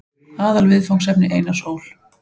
Aðalviðfangsefni Einars Ól.